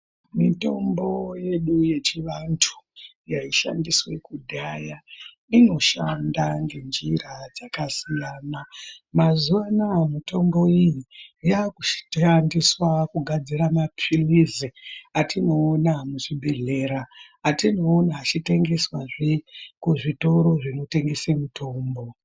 Mitombo yedu yechivantu yaishandiswa kudhaya inoshanda ngenjira dzakasiyana. Mazuwanaya mitombo iyi yakushandisa kugadzira mapilizi atinoona muzvibhehlera atinoona achitwngeswazve kuzvitoro zvinotengeswa mitombo.